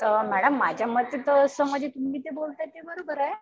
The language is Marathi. मॅडम माझ्या मते तर जसं तुम्ही जे बोलताय ते बरोबर आहे.